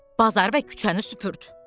Bazar və küçəni süpürd.